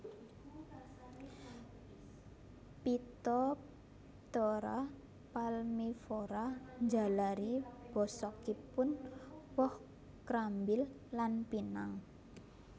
Phytophthora palmivora njalari bosokipun woh krambil lan pinang